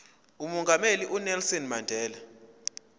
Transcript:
umongameli unelson mandela